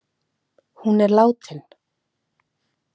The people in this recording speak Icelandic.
Hún er látin.